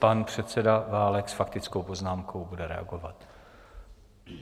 Pan předseda Válek s faktickou poznámkou bude reagovat.